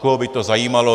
Koho by to zajímalo!